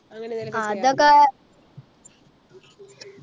അതൊക്കെ